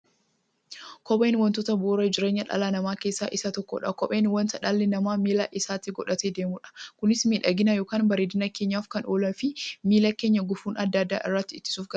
Kopheen wantoota bu'uura jireenya dhala namaa keessaa isa tokkodha. Kopheen wanta dhalli namaa miilla isaatti godhatee deemudha. Kunis miidhagani yookiin bareedina keenyaf kan ooluufi miilla keenya gufuu adda addaa irraa ittisuuf gargaara.